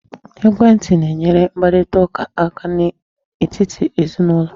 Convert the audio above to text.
Ekwentị na-enyere mkparitaụka aka n'etiti ezinụlọ aka.